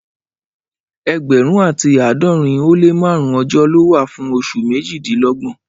Ẹẹgbẹrun ati aadọrin o le márùn ọjọ ló wà fún osun mejilelogbon.